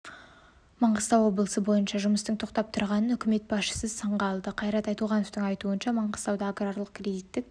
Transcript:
маңғыстау облысы бойынша жұмыстың тоқтап тұрғанын үкімет басшысы сынға алды қайрат айтуғановтың айтуынша маңғыстауда аграрлық кредиттік